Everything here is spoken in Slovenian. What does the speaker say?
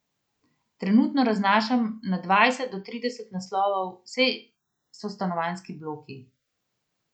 Trenutno raznašam na dvajset do trideset naslovov, vse so stanovanjski bloki.